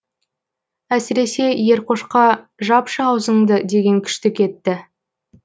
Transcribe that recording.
әсіресе еркошқа жапшы аузыңды деген күшті кетті